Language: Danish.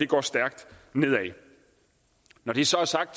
går stærkt nedad når det så er sagt